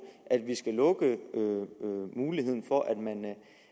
at vi skal lukke muligheden for